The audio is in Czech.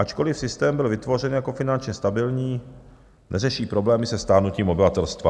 Ačkoliv systém byl vytvořen jako finančně stabilní, neřeší problémy se stárnutím obyvatelstva.